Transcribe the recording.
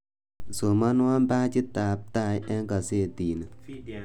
Somonwa pajitab tai eng gasati ni